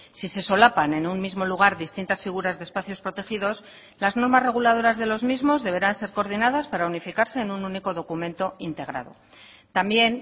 si se solapan en un mismo lugar distintas figuras de espacios protegidos las normas reguladoras de los mismos deberán ser coordinadas para unificarse en un único documento integrado también